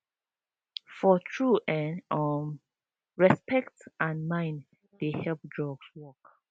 for true en um respect and mind dey help drugs work